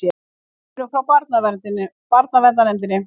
Við erum frá barnaverndarnefndinni.